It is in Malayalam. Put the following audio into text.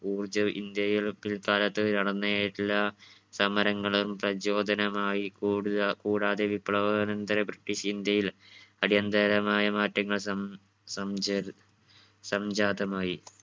ഊർജം ഇന്ത്യയിൽ പിൽകാലത്ത് നടന്ന എല്ലാ സമരങ്ങളും പ്രചോദനമായി കൂട്ആ കൂടാതെ വിപ്ലവാനന്തര british ഇന്ത്യയിൽ അടിയന്തരമായ മാറ്റങ്ങൾ സം സംചര സംജാതമായി.